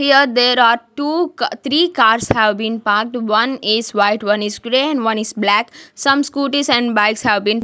here there are two three cars have been parked one is white one is grey and one is black some scooties and bikes have been --